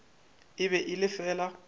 e be e le fela